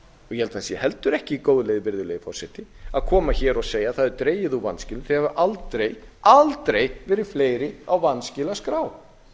ég held að það sé ekki góð leið virðulegi forseti að koma hér og segja að það hafi dregið úr vanskilum þau hafi aldrei verið fleiri á vanskilaskrá